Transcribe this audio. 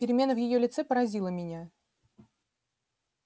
перемена в её лице поразила меня